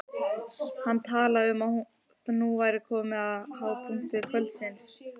Hann talaði um að nú væri komið að hápunkti kvöldsins.